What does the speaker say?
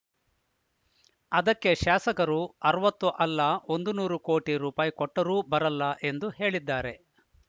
ಅದಕ್ಕೆ ಶಾಸಕರು ಅರವತ್ತು ಅಲ್ಲ ಒಂದು ನೂರು ಕೋಟಿ ರೂಪಾಯಿ ಕೊಟ್ಟರೂ ಬರೋಲ್ಲ ಎಂದು ಹೇಳಿದ್ದಾರೆ